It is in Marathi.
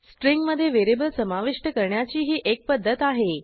स्ट्रिंगमधे व्हेरिएबल समाविष्ट करण्याची ही एक पध्दत आहे